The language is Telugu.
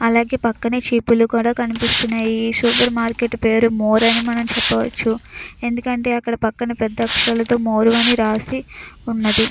అలాగే పక్కనుంచి చెట్లు కూడా కనిపిస్తున్నాయి ఈ సూపర్ మార్కెట్ పేరు మోర్ అని చెప్పవచ్చు ఎందుకంటే పెద్ద అక్షరాలతో మోరని కూడా రాసి ఉంది.